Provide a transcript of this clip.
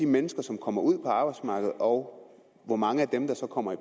mennesker som kommer ud på arbejdsmarkedet og hvor mange af dem der kommer i